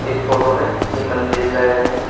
इस फोटो में तीन मंदिर दिखाए गए हैं।